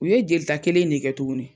U ye jeli ta kelen in ne kɛ tuguni